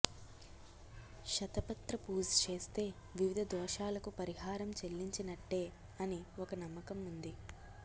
శత పత్ర పూజ చేస్తే వివిధ దోషాలకు పరిహారం చెల్లించినట్టే అని ఒక నమ్మకం ఉంది